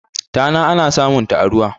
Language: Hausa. tana ana samunta a ruwa